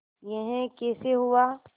यह कैसे हुआ